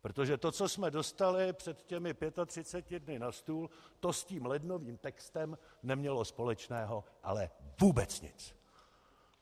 Protože to, co jsme dostali před těmi 35 dny na stůl, to s tím lednovým textem nemělo společného ale vůbec nic!